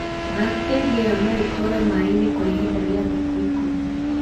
Bacteria ĩyo no ĩtũũre mai-inĩ kwa ihinda rĩa thikũ ikũmi.